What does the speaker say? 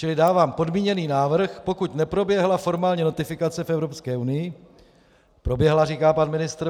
Čili dávám podmíněný návrh: pokud neproběhla formální notifikace v Evropské unii - proběhla, říká pan ministr .